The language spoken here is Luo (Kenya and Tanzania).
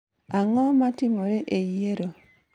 Ang'o matimore e yiero